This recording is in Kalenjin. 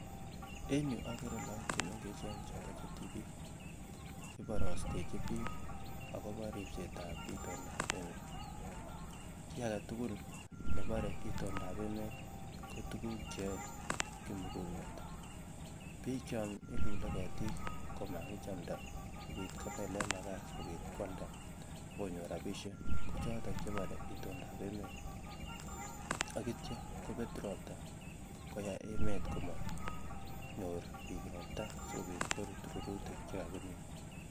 En yuu okere look chemengechen choton chetibik iboristenjin bik akobo ripset ab itondap emet, kii agetukul nebore itoldap emet ko tukul cheyoe kimugulmet bik chon ilule ketiik komakichamds sikopit kobelen makaa sikopit kwalda akonyor rabishek ko choton chebore itondap emet ak ityo kopet ropta koyai emet komonyor bik ropta sikopit korut rurutik chekakimin.